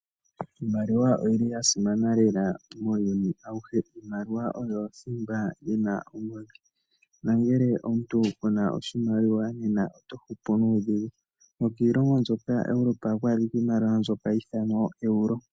Iimaliwa oyi li ya simana lela muuyuni awuhe. Iimaliwa oyo thimba yi na ongodhi nongele omuntu ku na oshimaliwa nena oto hupu nuudhigu. Nokiilongo mbyoka yaEuropa ohaku adhika iimaliwa mbyoka hayi ithanwa ooeuro.